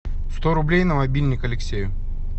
сто рублей на мобильник алексею